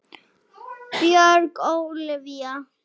Björg Ólavía.